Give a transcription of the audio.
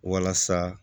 Walasa